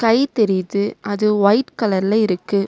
ஐ தெரியிது அது ஒய்ட் கலர்ல இருக்கு.